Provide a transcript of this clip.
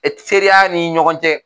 EE seereya ni ɲɔgɔn cɛ